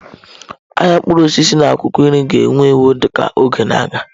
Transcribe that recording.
Ahịa mkpụrụ osisi na akwụkwọ nri ga-ewu ewu ka oge na-aga.